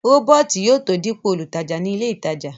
rọ́bọ̀tì yóò tó dípò olùtajà ní ilé ìtajà